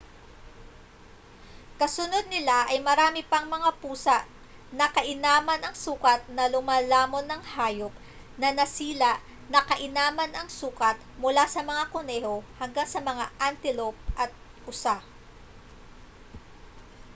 kasunod nila ay marami pang mga pusa na kainaman ang sukat na lumalamon ng hayop na nasila na kainaman ang sukat mula sa mga kuneho hanggang sa mga antilope at usa